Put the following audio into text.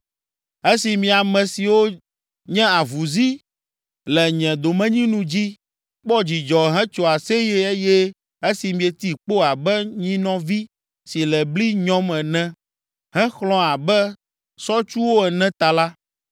“Esi mi ame siwo nye avuzi le nye domenyinu dzi, kpɔ dzidzɔ, hetso aseye eye esi mieti kpo abe nyinɔvi si le bli nyɔm ene, hexlɔ̃ abe sɔtsuwo ene ta la,